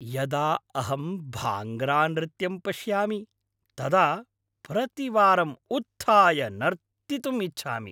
यदा अहं भाङ्ग्रानृत्यं पश्यामि तदा प्रतिवारम् उत्थाय नर्तितुम् इच्छामि।